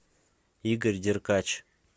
игорь деркач